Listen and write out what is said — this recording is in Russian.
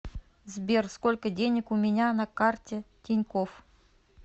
сбер сколько денег у меня на карте тинькофф